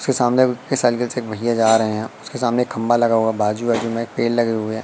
उसके सामने साईकिल से एक भइया जा रहे हैं उसके सामने एक खंभा लगा हुआ है बाजू आजू में पेड़ लगे हुए--